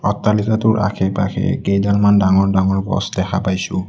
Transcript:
অট্টালিকাটোৰ আশে পাশে কেইডালমান ডাঙৰ ডাঙৰ গছ দেখা পাইছোঁ।